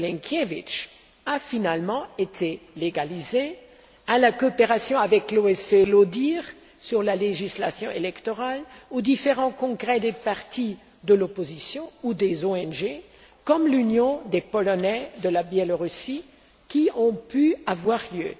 Milinkevich a finalement été légalisée, à la coopération avec l'OSCE ODIHR sur la législation électorale, aux différents congrès des partis de l'opposition ou des ONG comme l'Union des Polonais du Belarus qui ont pu avoir lieu.